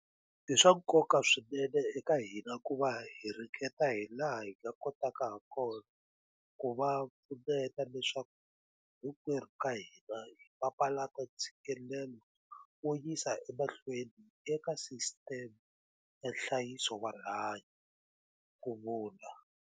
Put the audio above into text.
I swa nkoka swinene eka hina ku va hi ringeta hilaha hi nga kotaka hakona ku va pfuneta leswaku hinkwerhu ka hina hi papalata ntshikelelo wo yisa emahlweni eka sisiteme ya nhlayiso wa rihanyu, ku vula.